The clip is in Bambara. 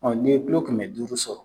ni ye kɛmɛ duuru sɔrɔ